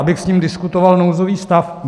Abych s ním diskutoval nouzový stav?